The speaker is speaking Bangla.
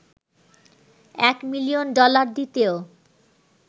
এক মিলিয়ন ডলার দিতেও